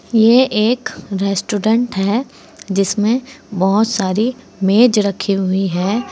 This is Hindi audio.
यह एक रेस्टोरेंट है जिसमें बहोत सारी मेज रखी हुई है।